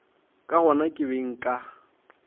ka gona ke be nka